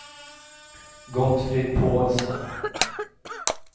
Gottfrid Pålsson